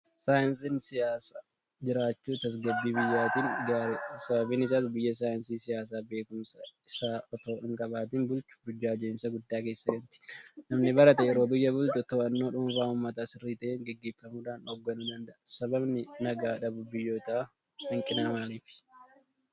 Saayinsiin Siyaasaa jiraachuun tasgabbii biyyaatiin gaariidha. Sababni isaas biyyi saayinsii Siyaasaa beekumsa isaa itoo hinqabaatin bultu burjaaja'insa guddaa keessa galti. Namni barate yeroo biyya bulchu to'annoo dhuunfaafi uummataa sirrii ta'een gaggeeffamuudhaan hoogganuu danda'a. Sababni nagaa dhabuu biyyootaa hanqina maaliiti?